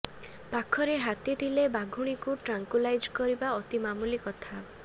ପାଖରେ ହାତୀ ଥିଲେ ବାଘୁଣୀକୁ ଟ୍ରାଙ୍କୁଲାଇଜ୍ କରିବା ଅତି ମାମୁଲି କଥା